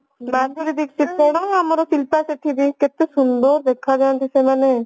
ମାଧୁରୀ ଦିକ୍ଷିତ କଣ ଆମର ଶିଳ୍ପା ଶେଠୀ ଯୋଉ କେତେ ସୁନ୍ଦର ଦେଖା ଯାନ୍ତି ସେମାନେ